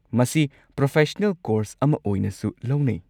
ꯃꯁꯤ professional course ꯑꯃ ꯑꯣꯏꯅꯁꯨ ꯂꯧꯅꯩ꯫